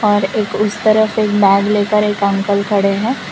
और एक उस तरफ एक बैग लेकर एक अंकल खड़े हैं।